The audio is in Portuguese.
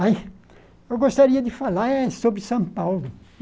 Aí, eu gostaria de falar é sobre São Paulo.